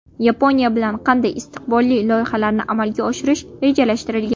Yaponiya bilan qanday istiqbolli loyihalarni amalga oshirish rejalashtirilgan?.